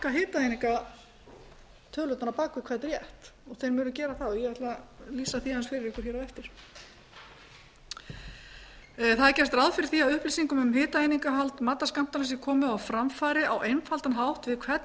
á bak við hvern rétt þeir munu gera það og ætla að lýsa því aðeins fyrir ykkur á eftir það er gert ráð fyrir því að upplýsingum um hitaeiningahald matarskammtanna sé komið á framfæri á einfaldan hátt við hvern rétt